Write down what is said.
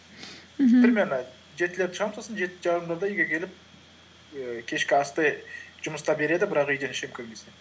мхм примерно жетілерде шығамын сосын жеті жарымдарда үйге келіп ііі кешкі асты жұмыста береді бірақ үйден ішемін көбінесе